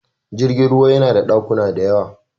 Jirgin ruwa yana da ɗakuna diyawa.